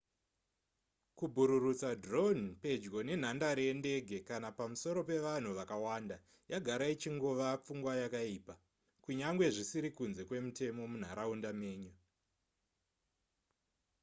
kubhururutsa drone pedyo nenhadare yendege kana pamusoro pevanhu vakawanda yagara ichingova pfungwa yakaipa kunyangwe zvisiri kunze kwemutemo munharaunda menyu